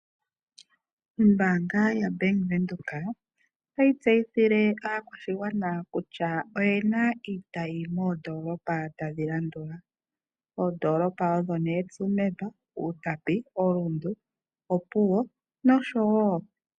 Ombaanga yaVenduka otayi tseyithile aakwashigwana kutya oyi na iitayi moNamibia yi li moondolopa ngaashi Tsumeb, Outapi, Rundu ,Opuwo, Grootfontein, Okahao, Oshakati-North nosho woo Oshakati Santorini service.